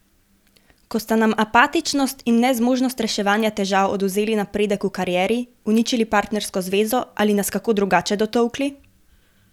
Ko sta nam apatičnost in nezmožnost reševanja težav odvzeli napredek v karieri, uničili partnersko zvezo ali nas kako drugače dotolkli?